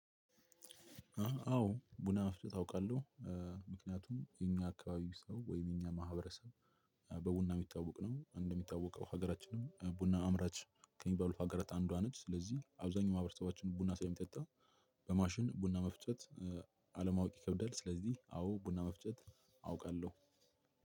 አዎ ቡና አፍልተው ያውቃሉ? ምክንያቱም የኛ አካባቢ ሰው ወይም የኛ ማህበረሰብ በቡና የሚታወቅ ነው እንደሚታወቀው ሀገራችንም ቡና አምራች ከሚባሉት ሀገራት አንዷ ነች ስለዚህ አብዛኛው ማህበረሰባችን ቡና ሳይጣጣ በማሽን ቡና መፍጨት አለማወቅ ይከብዳል ስለዚህ አዎ ቡና መፍጨት አውቃለሁ።